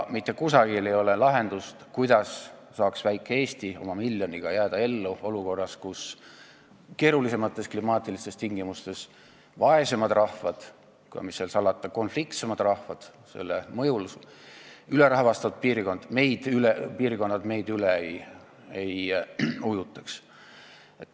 Mitte kusagil ei ole lahendust, kuidas saaks väike Eesti oma miljoni inimesega jääda ellu, nii et keerulisemates klimaatilistes tingimustes elavad vaesemad rahvad, ja mis seal salata, ka konfliktsemad rahvad, ülerahvastatud piirkondadest tulevad rahvad meid üle ei ujutaks.